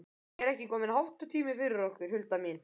Er ekki kominn háttatími fyrir okkur, Hulda mín?